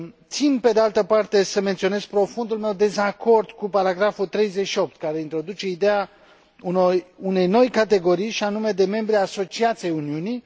Țin, pe de altă parte, să menționez profundul meu dezacord cu paragraful 38, care introduce ideea unei noi categorii, și anume de membri asociați ai Uniunii.